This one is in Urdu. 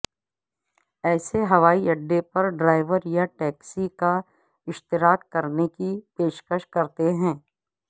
اسے ہوائی اڈے پر ڈرائیو یا ٹیکسی کا اشتراک کرنے کی پیشکش کرتے ہیں